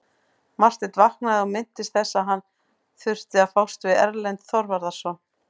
Marteinn vaknaði og minntist þess að hann þurfti að fást við Erlend Þorvarðarson.